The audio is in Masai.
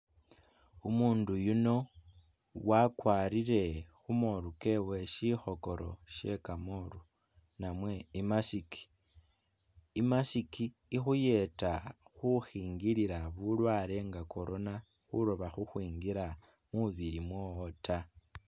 Umundu yuno wakwarire khumolu kewe sikhokoro she kamolu namwe i mask, i mask ikhuyeta khukhingila bulwale nga corona khuloba khu khwingila mwibili mwowo ta